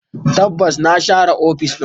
Tabbas na share ofis din.